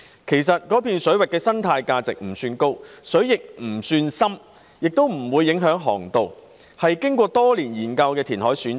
其實，中部水域的生態價值不算高，水亦不算深，又不會影響航道，是經過多年研究的填海選址。